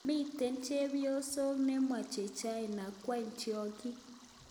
Mitei Chepyoso nemoche China kwam tyong'iik.